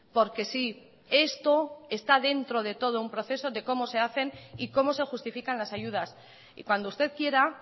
porque sí esto está dentro de todo un proceso de cómo se hacen y cómo se justifican las ayudas y cuando usted quiera